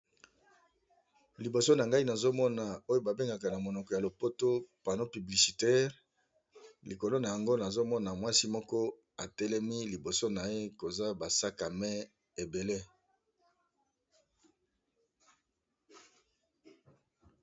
liboso na ngai nazomona oyo babengaka na monoko ya lopoto pano publicitaire likolo na yango nazomona mwasi moko atelemi liboso na ye koza basaka me ebele